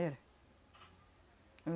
Era.